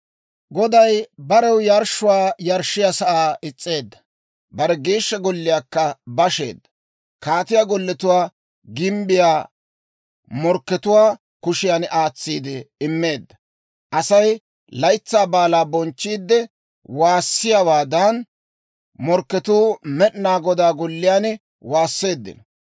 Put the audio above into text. Goday barew yarshshuwaa yarshshiyaa sa'aa is's'eedda; bare Geeshsha Golliyaakka basheedda. Kaatiyaa golletuwaa gimbbiyaa morkkatuwaa kushiyan aatsiide immeedda. Asay laytsaa baalaa bonchchiidde waassiyaawaadan, morkketuu Med'inaa Godaa Golliyaan waasseeddino.